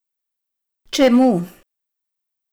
Čemu?